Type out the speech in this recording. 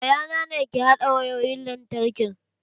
Yayana ne ke haɗa wayoyin lantarkin